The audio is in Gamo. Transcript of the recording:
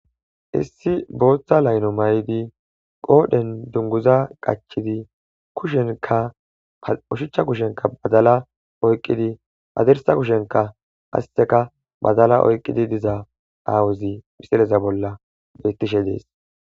issi booththa layno may7di qoodhen dunguza qachidi kushenka oshuchcha kushenka badala oyqqidi hadirsa kushenka hasteka badala oyqqidi diza aawuzi misileza bolla bettishe dees